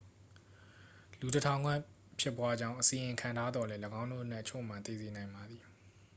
လူတစ်ထောင်ခန့် ဖြစ်ပွားကြောင်း အစီရင်ခံထားသော်လည်း ၎င်းတို့အနက်အချို့မှာ သေစေနိုင်ပါသည်